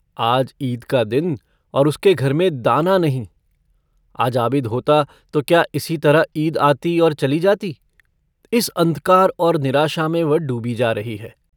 आज ईद का दिन और उसके घर में दाना नहीं आज आबिद होता तो क्या इसी तरह ईद आती और चली जाती इस अन्धकार और निराशा में वह डूबी जा रही है।